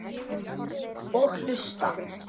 Og hlusta.